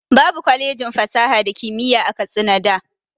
Babu kwalejin fasaha da kimiyya a katsina da